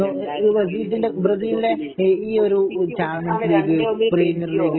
ഈ ബ്രസീലിന്റെ ഈ ഒരു ചാമ്പ്യന്സ് ലീഗ് പ്രീമിയർ ലീഗ്